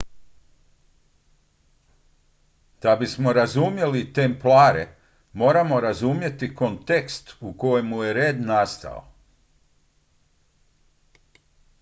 da bismo razumjeli templare moramo razumjeti kontekst u kojem je red nastao